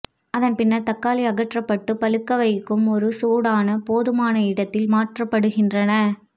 அதன் பின்னர் தக்காளி அகற்றப்பட்டு பழுக்க வைக்கும் ஒரு சூடான போதுமான இடத்தில் மாற்றப்படுகின்றன